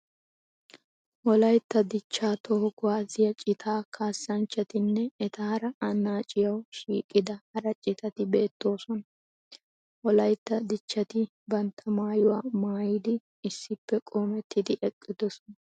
Wolaytta dichchaa toho kuwaasiya citaa kaassanchchatinne etaara annaciyawu shiiqida hara citati beettoosona. Wolaytta dichvhati bantta maayuwa maayidi issippe qoomettidi eqqidosona.